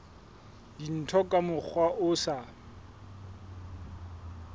dintho ka mokgwa o sa